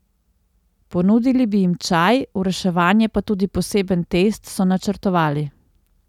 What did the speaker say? Ponudili bi jim čaj, v reševanje pa tudi poseben test, so načrtovali.